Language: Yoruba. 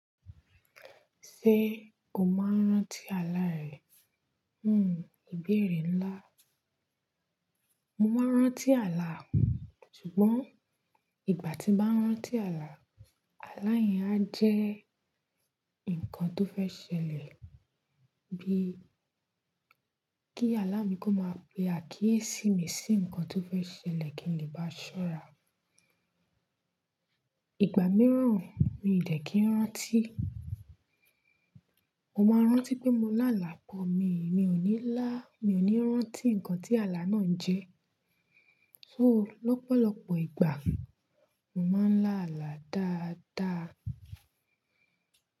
"Ṣé o máa ń rántí àlá rẹ?" ìbéèrè ńlá. Mo máa ń rántí àlá, ṣùgbọ́n ìgbà tí bá ń rántí àlá, àlá yẹn á jẹ́ nǹkan tó fẹ́ ṣẹlẹ̀ bíi kí àlá mi kó máa pe àkíyèsí mi sí nǹkan tó fẹ́ ṣẹlẹ̀ kí n lè bá ṣọ́ra. Ìgbà mìíràn mi ò dẹ̀ kí ń rántí. Mo máa ń rántí pé mo lá àlá bọ́ mi, mi ò ní lá, mi ò ní rántí nǹkan tí àlá náà ń jẹ́. So lọ́pọ̀lọpọ̀ ìgbà, mo máa ń lá àlá dáadáa.